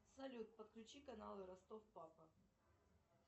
салют подключи каналы ростов папа